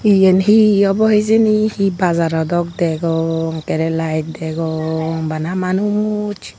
yan he obo hijeni he bajaro dok degong ekkerey light degong bana manuch.